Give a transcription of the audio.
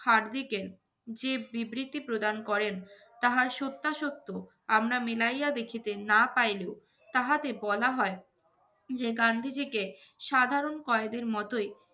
হার্ডরিকেন যে বিবৃতি প্রদান করেন তাহার সত্যাসত্য আমরা মিলাইয়া দেখিতে না পাইলেও, তাহাতে বলা হয় যে গান্ধীজীকে সাধারণ কয়েদির মতোই